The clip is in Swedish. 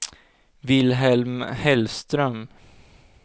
Vilhelm Hellström